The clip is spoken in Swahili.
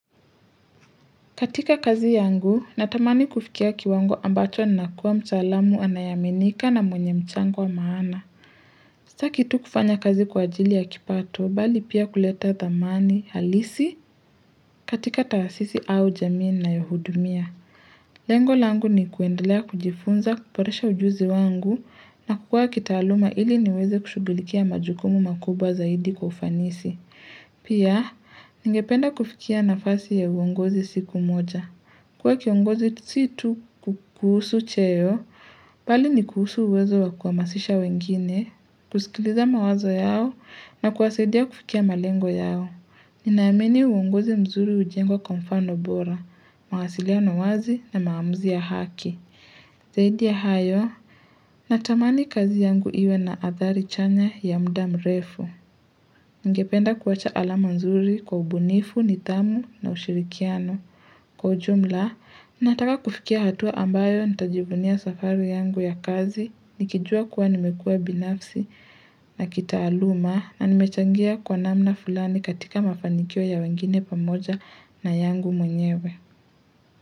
Katika kazi yangu, natamani kufikia kiwango ambacho nakuwa mtaalamu anayeaminika na mwenye mchango wa maana. Sitaki tu kufanya kazi kwa ajili ya kipato, bali pia kuleta thamani halisi katika taasisi au jamii na yohudumia. Lengo langu ni kuendelea kujifunza, kuboresha ujuzi wangu na kukua kitaaluma ili niweze kushugilikia majukumu makubwa zaidi kwa ufanisi. Pia, ningependa kufikia nafasi ya uongozi siku moja. Kuwa kiongozi si tu kuhusu cheo, bali ni kuhusu uwezo wa kuhamasisha wengine, kusikiliza mawazo yao na kuwasaidia kufikia malengo yao. Nina amini uongozi mzuri hujengwa kwa mfano bora, mawasiliano wazi na maamuzi ya haki. Zaidi ya hayo, natamani kazi yangu iwe na athari chanya ya muda mrefu Ningependa kuwacha alama mzuri kwa ubunifu, nithamu na ushirikiano Kwa ujumla, nataka kufikia hatua ambayo nitajivunia safari yangu ya kazi Nikijua kuwa nimekua binafsi na kitaluma na nimechangia kwa namna fulani katika mafanikio ya wengine pamoja na yangu mwenyewe.